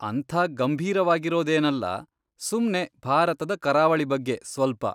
ಅಂಥ ಗಂಭೀರವಾಗಿರೋದೇಲ್ಲ, ಸುಮ್ನೆ ಭಾರತದ ಕರಾವಳಿ ಬಗ್ಗೆ ಸ್ವಲ್ಪ.